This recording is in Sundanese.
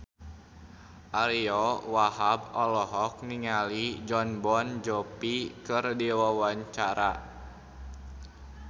Ariyo Wahab olohok ningali Jon Bon Jovi keur diwawancara